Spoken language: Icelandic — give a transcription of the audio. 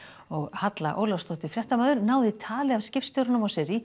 Halla Ólafsdóttir fréttamaður náði tali af skipstjóranum á Sirrý